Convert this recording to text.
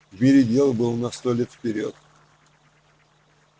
в мире дел было на сто лет вперёд